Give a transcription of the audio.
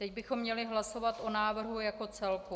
Teď bychom měli hlasovat o návrhu jako celku.